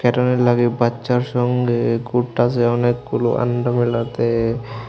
বাচ্চার সঙ্গে ঘুরতাছে অনেকগুলো মেলাতে।